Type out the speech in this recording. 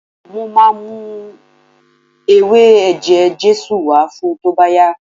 Mo máa mú ewé ẹ̀jẹ̀ Jésù wá fun tó bá yá.